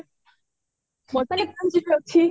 ଶିଶୁ ଅଛି ଶ୍ଵେତା ଅଛି